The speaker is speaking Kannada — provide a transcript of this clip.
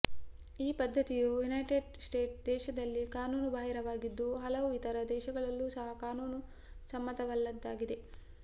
ಈ ಪದ್ಧತಿಯು ಯುನೈಟೆಡ್ ಸ್ಟೇಟ್ಸ್ ದೇಶದಲ್ಲಿ ಕಾನೂನುಬಾಹಿರವಾಗಿದ್ದು ಹಲವು ಇತರ ದೇಶಗಳಲ್ಲೂ ಸಹ ಕಾನೂನುಸಮ್ಮತವಲ್ಲದ್ದಾಗಿದೆ